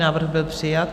Návrh byl přijat.